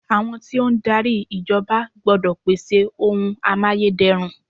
Àwọn tí ó ń darí ìjọba gbọ́dọ̀ pèsè oun amáyédẹrùn.